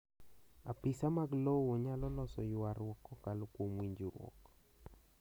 apisa mag lowo nyalo loso ywaruok kokalo kuom winjruok